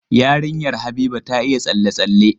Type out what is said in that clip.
Yarinyar Habiba ta iya tsalle-tsalle.